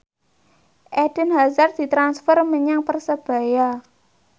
Eden Hazard ditransfer menyang Persebaya